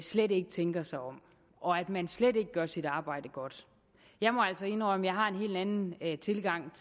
slet ikke tænker sig om og at man slet ikke gør sit arbejde godt jeg må altså indrømme at jeg har en helt anden tilgang